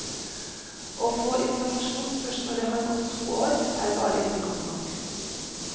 Å få informasjon først når det har gått to år, er bare ikke godt nok.